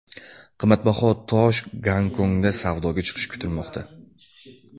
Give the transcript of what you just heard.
Qimmatbaho tosh Gonkongda savdoga chiqishi kutilmoqda.